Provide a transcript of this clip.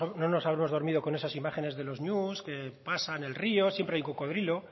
no nos habremos dormido con esas imágenes de los ñus que pasan el río siempre hay un cocodrilo